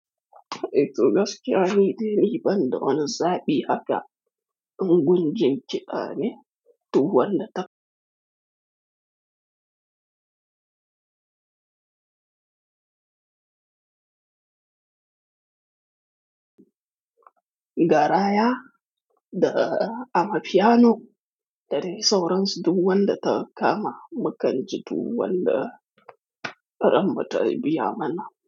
Eh to ni gaskiya ne, deni ban don zabi aka unguje ce a ne tuwal ta. Garaya da amafiyano da dai sauransu duwan da ta kama, makanji duwan da faramta biya mana.